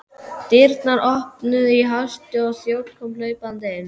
Dyrnar voru opnaðar í hasti og þjónn kom hlaupandi inn.